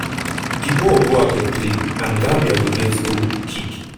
di ball go out of play and gambia go get goal kick.